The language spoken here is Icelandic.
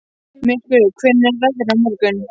Myrkvi, hvernig er veðrið á morgun?